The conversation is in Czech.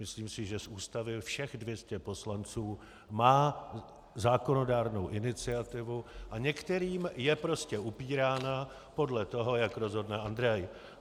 Myslím si, že z Ústavy všech 200 poslanců má zákonodárnou iniciativu a některým je prostě upírána podle toho, jak rozhodne Andrej.